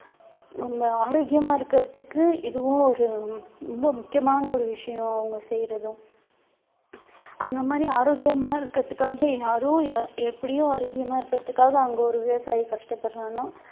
நம்ம ஆரோக்கியமா இருக்கிறதுக்கு இதுவும் ஒரு ரொம்ப முக்கியமான ஒரு விஷயம் அவங்க செய்யிறதும் அந்த மாதிரி ஆரோக்கியமா இருக்கிறதுக்காக யாரோ யா~ எப்படியோ ஆரோக்கியமா இருக்கிறதுக்காக அங்க ஒரு விவசாயி கஷ்டப்படுறான்னா